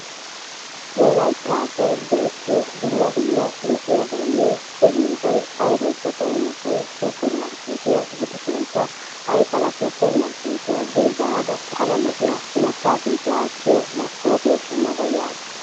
Wolaytta asay go'ettiyo dumma dumma lo'iyabaynne koyiyoobay aybaykka xayenasay supermarkeeettiya gidishin aykala supermarketiya zino baada pala lo'iyaa imataa sintti aatiyo masoopiya shamada yaasu.